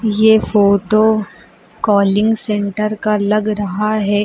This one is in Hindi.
ये फोटो कालिंग सेन्टर का लग रहा है।